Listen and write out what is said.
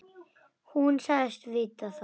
Hún sagðist vita það.